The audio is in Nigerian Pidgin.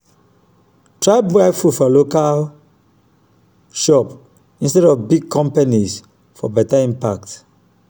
try buy from local shops instead of big companies for beta impact.